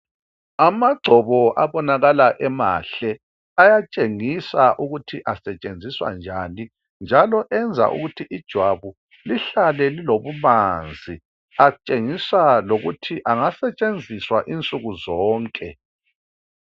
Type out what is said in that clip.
Amagcobo abonakala emahle ayatshengisa ukuthi asetshenziswa njani njalo eyenza ukuthi ijwabu lihlale lilobumanzi atshengisa lokuthi angasetshenziswa insuku zonke.